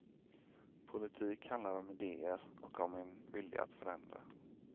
Politik handlar om idéer och om en vilja att förändra.